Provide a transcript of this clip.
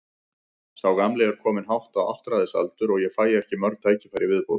Sá gamli er kominn hátt á áttræðisaldur og ég fæ ekki mörg tækifæri í viðbót.